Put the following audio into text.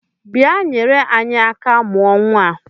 Bịa nyere anyị aka mụọ nnwa a!